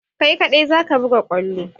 Kai ka ɗai zaka buga kwallo!